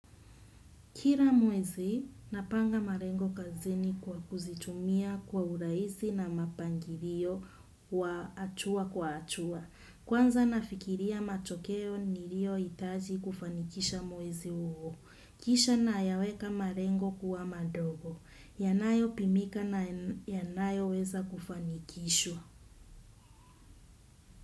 Kila mwezi, napanga malengo kazini kwa kuzitumia kwa urahisi na mapangilio wa hatua kwa hatua. Kwanza nafikiria matokeo niliyohitaji kufanikisha mwezi huo. Kisha nayaweka malengo kuwa madogo. Yanayopimika na yanayoweza kufanikishwa.